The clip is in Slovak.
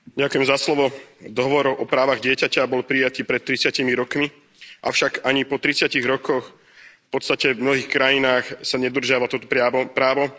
Vážený pán predsedajúci, dohovor o právach dieťaťa bol prijatý pred tridsiatimi rokmi, avšak ani po tridsiatich rokoch, v podstate v mnohých krajinách, sa nedodržiava toto právo.